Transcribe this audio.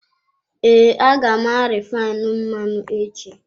Ee, a ga m arifainu mmanụ echi.